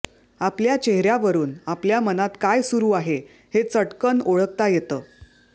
आपल्या चेहऱ्यावरून आपल्या मनात काय सुरू आहे हे चटकन ओळखता येतं